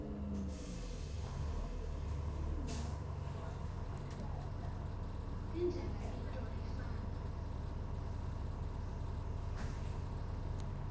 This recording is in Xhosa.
indlela into efana